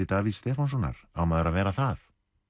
Davíðs Stefánssonar á maður að vera það